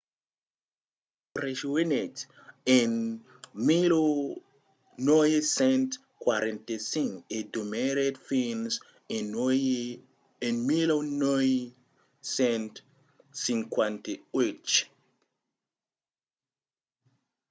los rejonhèt en 1945 e demorèt fins a 1958